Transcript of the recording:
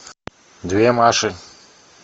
две маши